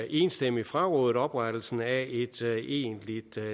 enstemmigt frarådet oprettelsen af et egentligt